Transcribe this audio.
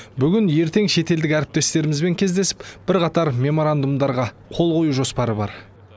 бүгін ертең шетелдік әріптестерімізбен кездесіп бірқатар меморандумдарға қол қою жоспары бар